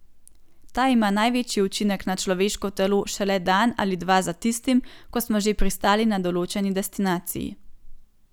Ta ima največji učinek na človeško telo šele dan ali dva za tistim, ko smo že pristali na določeni destinaciji.